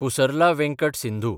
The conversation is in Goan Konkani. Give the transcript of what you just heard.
पुसरला वेंकट सिंधू